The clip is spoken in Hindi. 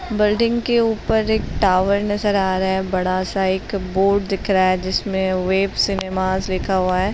बल्डिंग के ऊपर एक टॉवर नज़र आ रहा है। बड़ा सा एक बोर्ड दिख रहा है जिसमे वेब सिनेमास लिखा हुआ है।